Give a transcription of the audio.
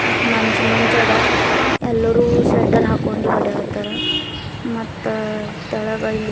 ಮತ್ತು ಮಂಜ್ ಮಂಜ್ ಅದ ಎಲ್ಲಾರು ಸ್ವೆಟರ್ ಹಾಕೊಂಡಿ ಓಡಾಡ್ತರ ಮತ್ತ ತೆಳಗ ಇಲ್ಲಿ--